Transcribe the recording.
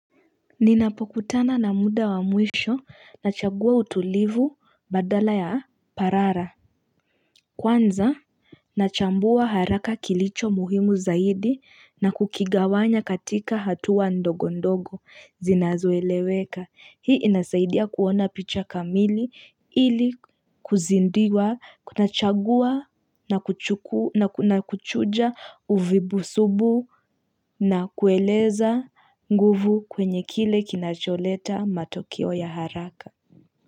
Ninapokutana na muda wa mwisho, nachagua utulivu baadala ya parara. Kwanza, nachambua haraka kilicho muhimu zaidi na kukigawanya katika hatua ndogo ndogo zinazoeleweka. Hii inasaidia kuona picha kamili ili kuzindiwa, kuna chagua na kuchuja uvibu subu na kueleza nguvu kwenye kile kinacholeta matokeo ya haraka.